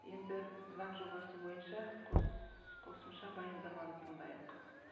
енді заң жобасы бойынша қосымша баяндаманы тыңдайық